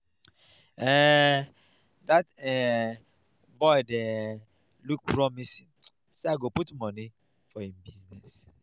um dat um boy dey um look promising so i go put money for im business